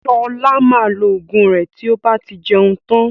Ṣọlá maa lo Ògùn rẹ tí ó bá ti jẹun tán